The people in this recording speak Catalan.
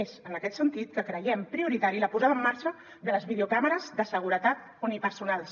és en aquest sentit que creiem prioritària la posada en marxa de les videocàmeres de seguretat unipersonals